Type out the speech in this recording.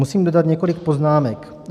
Musím dodat několik poznámek.